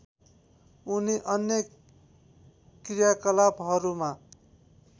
उनी अन्य कृयाकलापहरूमा